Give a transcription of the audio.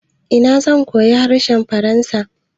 Ina zan koyi harshen faransa?